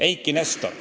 Eiki Nestor.